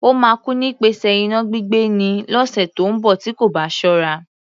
Ó máa kú nípasẹ̀ iná gbígbé ni, lọ́sẹ̀ tí ó ń bọ̀ tí kò bá ṣọ́ra.